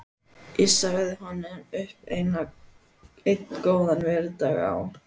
Ég sagði honum upp einn góðan veðurdag á